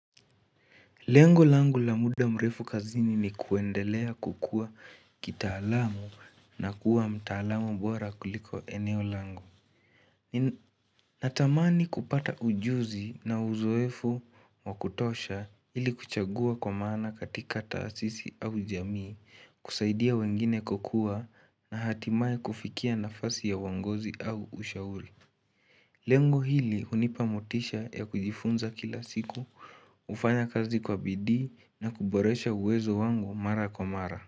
Lengu langu la muda mrefu kazini ni kuendelea kukua kitaalamu na kuwa mtaalamu bora kuliko eneo langu. Natamani kupata ujuzi na uzoefu wa kutosha ili kuchagua kwa maana katika tasisi au jamii, kusaidia wengine kukua na hatimaye kufikia nafasi ya uongozi au ushauri. Lengo hili unipa motisha ya kujifunza kila siku, ufanya kazi kwa bidii na kuboresha uwezo wangu mara kwa mara.